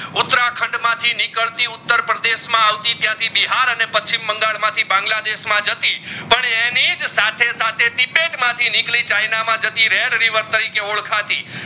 ઉતરખંડ માં થી નિકડતી ઉત્તરપ્રદેશ માં આવતી ત્યાં થી બિહાર અને પશ્ચિમ બંગાળ માં માં થી બાંગલાદેશ માં જતી પણ એનિજ સાથે સાથે પેટ માં થી નિકડી ચાઇના માં જતી રેર river તરીકે ઓડખાતી